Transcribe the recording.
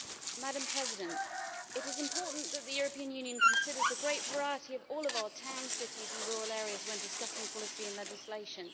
Madam President, it is important that the European Union consider the great variety of all of our towns, cities and rural areas when discussing policy and legislation.